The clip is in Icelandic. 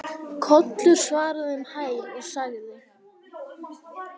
Kollur svaraði um hæl og sagði